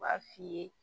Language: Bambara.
U b'a f'i ye